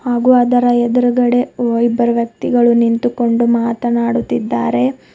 ಹಾಗು ಅದರ ಎದ್ರುಗಡೆ ಇಬ್ಬರು ವ್ಯಕ್ತಿಗಳು ನಿಂತುಕೊಂಡು ಮಾತನಾಡುತ್ತಿದ್ದಾರೆ.